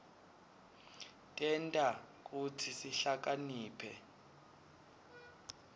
tenta kutsi sihlakaniphe